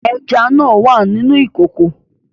Ẹja náà wà nínú ìkòkò